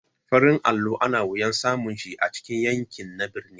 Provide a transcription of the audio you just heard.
Farin allo ana wayan samun shi a cikin yanki na birni.